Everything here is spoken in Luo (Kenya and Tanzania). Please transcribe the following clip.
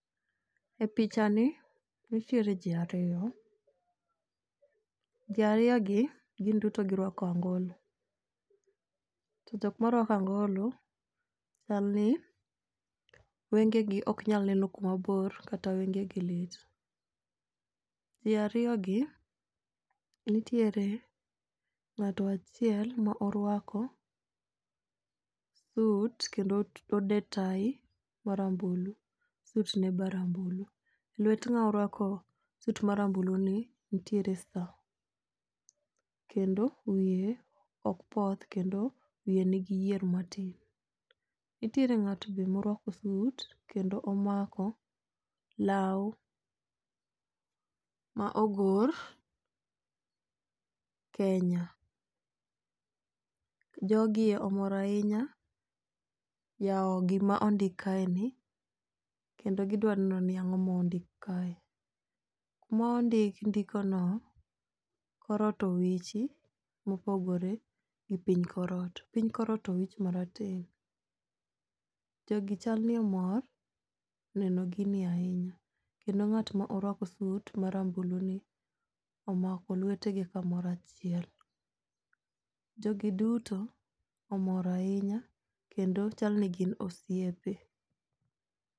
Epichani nitiere ji ariyo, ji ariyogi gin duto giruako angolo to jok maruako angolo chalni wengegi ok nyal neno kuma bor kata wengegi lit. Ji ariyogi nitiere ng'ato achiel moruako sut kendo odeyo tai marambulu sutne be rambulu, lwet ng'ama oruako sut marambulni nitiere sta kendo wiye ok poth wiye nitie gi yier matin. Nitiere ng'ato be ma oruako sut kendo omako law ma ogor Kenya. Jogi omor ahinya yawo gima ondik kaeni kendi gidwa neno ni ang'o mondik kae. Mondik ndikono kor ot owichi mopogore gi piny kor ot, piny kor ot owichi marateng', jogi chal ni omor neno gini ahinya kendo ng'at ma oruako sut marambulu ni om ako lwetgi kamoro achiel. Jogi duto omor ahinya kendo chal ni gi osiepe